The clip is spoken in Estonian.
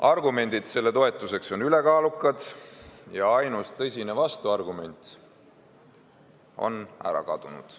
Argumendid selle toetuseks on ülekaalukad ja ainus tõsine vastuargument on ära kadunud.